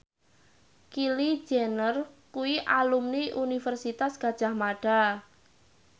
Kylie Jenner kuwi alumni Universitas Gadjah Mada